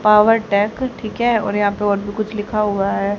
Powertech ठीक है और यहां पे और भी कुछ लिखा हुआ है।